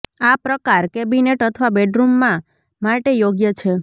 આ પ્રકાર કેબિનેટ અથવા બેડરૂમમાં માટે યોગ્ય છે